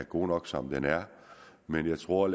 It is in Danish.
god nok som den er men jeg tror at